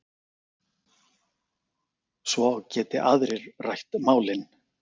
Svo geti aðrir rætt málin.